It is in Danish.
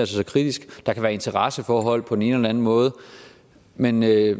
så kritisk der kan være interesseforhold på den ene eller den anden måde men jeg